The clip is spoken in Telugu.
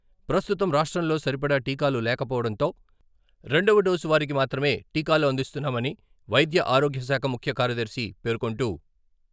ప్రస్తుతం రాష్ట్రంలో సరిపడా టీకాలు లేకపోవడంతో రెండవ డోసు వారికి మాత్రమే టీకాలు అందిస్తున్నామని వైద్య ఆరోగ్యశాఖ ముఖ్యకార్యదర్శి పేర్కొంటూ....